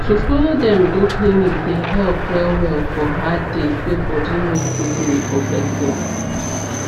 to follow dem go clinic dey help well well for hard days wey body no too gree for person